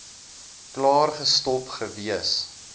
klaar gestop gewees